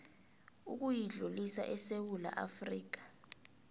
ukuyidlulisa esewula afrika